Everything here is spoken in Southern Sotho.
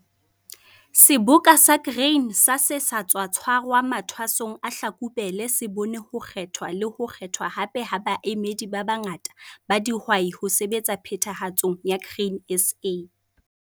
SEBOKA SA GRAIN SA SE SA TSWA TSHWARWA MATHWASONG A HLAKUBELE SE BONE HO KGETHWA LE HO KGETHWA HAPE HA BAEMEDI BA BANGATA BA DIHWAI HO SEBETSA PHETHAHATSONG YA GRAIN SA.